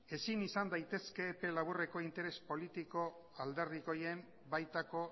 ezin izan daitezke epe laburreko interes politiko alderdikoien baitako